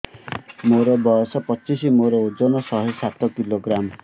ମୋର ବୟସ ପଚିଶି ମୋର ଓଜନ ଶହେ ସାତ କିଲୋଗ୍ରାମ